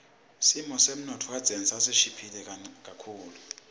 simo semnotfo kadzeni sasishiphile kunanyalo